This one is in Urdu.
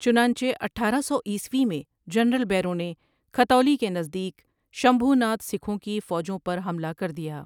چنانچہ اٹھارہ سو عیسوی میں جنرل بیروں نے کھتولی کے نزدیک شمبھوناتھ سکھوں کی فوجوں پر حملہ کر دیا ۔